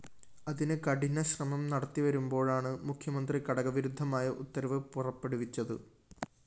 അതിന് കഠിന ശ്രമം നടത്തിവരുമ്പോഴാണ് മുഖ്യമന്ത്രി കടകവിരുദ്ധമായ ഉത്തരവ് പുറപ്പെടുവിച്ചത്